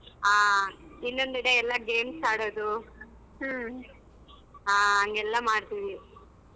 ಹಾ ಇನ್ನೊಂದೆಡೆ ಎಲ್ಲ games ಆಡೋದು ಎಲ್ಲ ಮಾಡ್ತೀವಿ.